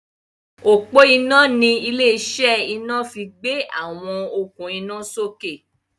ọpo iná ní ilé-iṣẹ́ ina fí gbé àwọn okun ina sókè.